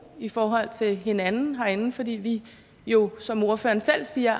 i forhold til hinanden herinde fordi vi jo som ordføreren selv siger